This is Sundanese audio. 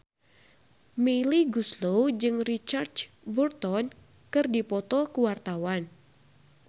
Melly Goeslaw jeung Richard Burton keur dipoto ku wartawan